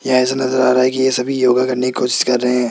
यहां ऐसा नजर आ रहा है कि ये सभी योगा करने की कोशिश कर रहे--